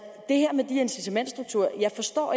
jeg forstår